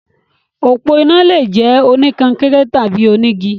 Òpó iná lè jẹ́ oníkọnkéré tàbí onígi.